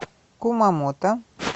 кумамото